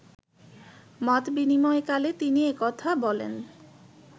মতবিনিময়কালে তিনি এ কথা বলেন